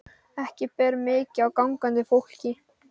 Ekki ber mikið á gangandi fólki.